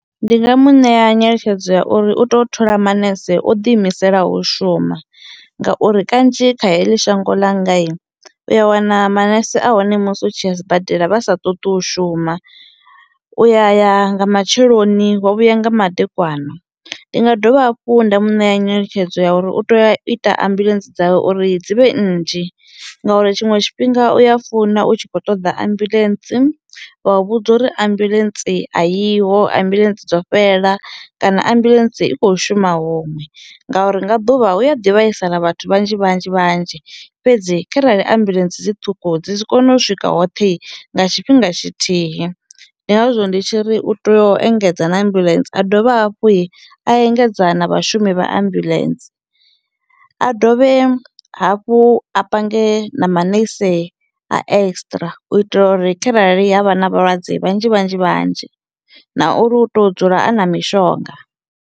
Ndi nga mu ṋea nyeletshedzo ya uri u to thola manese o ḓi imiselaho u shuma, ngauri kanzhi kha heḽi shango ḽangai u ya wana manese a hone musi u tshi ya sibadela vha sa ṱoḓi u shuma u ya ya nga matsheloni wa vhuya nga madekwana. Ndi nga dovha hafhu nda mu ṋea nyeletshedzo ya uri u tea u ita ambuḽentse dzawe uri dzi vhe nnzhi ngauri tshiṅwe tshifhinga u ya funa u tshi kho ṱoḓa ambuḽentse vha u vhudza uri ambuḽentse ayiho, ambuḽentse dzo fhela kana ambuḽentse i kho shuma huṅwe ngauri nga ḓuvha hu a ḓi vhaisala vhathu vhanzhi vhanzhi vhanzhi fhedzi kharali ambuḽentse dzi ṱhukhu dzi si kone u swika hoṱhe i nga tshifhinga tshithihi ndi ngazwo ndi tshiri u teyo engedza na ambulance a dovhe hafhui a engedza na vhashumi vha ambuḽentse a dovhe hafhu a pange na manese a extra u itela uri kharali ha vha na vhalwadze vhanzhi vhanzhi vhanzhi na uri u to dzula a na mishonga.